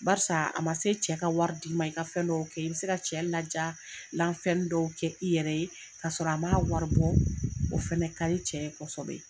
Barisa a ma se cɛ ka wari d'i ma i ka fɛn dɔw kɛ, i bɛ se ka cɛ ladiyala fɛniw dɔw kɛ i yɛrɛ ye ka sɔrɔ a m'a wari bɔ. O fɛnɛ ka di cɛ ye kosɛbɛ.